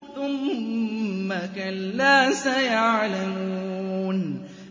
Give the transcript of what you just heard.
ثُمَّ كَلَّا سَيَعْلَمُونَ